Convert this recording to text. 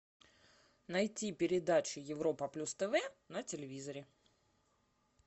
найти передачу европа плюс тв на телевизоре